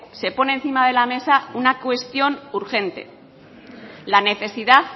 se pone encima de la mesa una cuestión urgente la necesidad